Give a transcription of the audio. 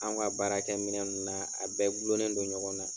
An ka baarakɛ minɛ ninnu na a bɛɛ gulonlen don ɲɔgɔn na.